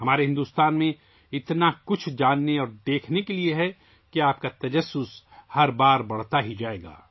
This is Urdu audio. ہمارے بھارت میں جاننے اور دیکھنے کے لیے بہت کچھ ہے کہ آپ کا تجسس ہر بار بڑھتا ہی جائے گا